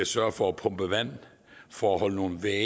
sørge for at pumpe vand for at holde nogle vægge